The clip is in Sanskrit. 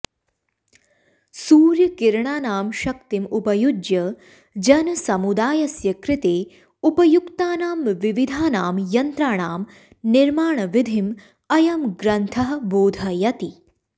सूर्यकिरणानां शक्तिम् उपयुज्य जनसमुदायस्य कृते उपयुक्तानां विविधानां यन्त्राणां निर्माणविधिम् अयं ग्रन्थः बोधयति